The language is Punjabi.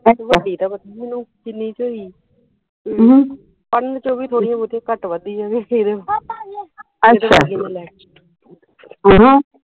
ਵੱਡੀ ਦਾ ਪਤਾ ਨਹੀਂ ਮੈਨੂੰ ਕਿਨ੍ਹੀ ਚ ਹੋਈ ਏ ਪੜਨ ਚ ਓਵੀ ਥੋੜੀਆਂ ਬਹੁਤੀਆਂ ਘੱਟ ਵੱਧ ਈਆ